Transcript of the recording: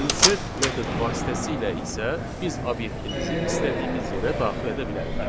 Insert metod vasitəsilə isə biz obyektimizi istədiyimiz yerə daxil edə bilərik.